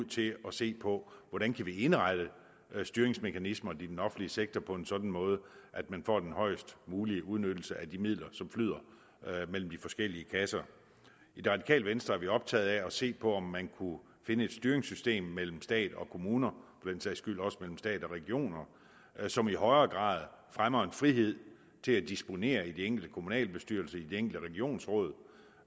til at se på hvordan vi kan indrette styringsmekanismerne i den offentlige sektor på en sådan måde at man får den højst mulige udnyttelse af de midler som flyder imellem de forskellige kasser i det radikale venstre er vi optaget af at se på om man kunne finde et styringssystem mellem stat og kommuner den sags skyld også mellem stat og regioner som i højere grad fremmer en frihed til at disponere i de enkelte kommunalbestyrelser i de enkelte regionsråd